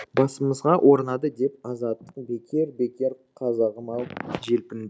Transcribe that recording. басымызға орнады деп азаттық бекер бекер қазағым ау желпіндік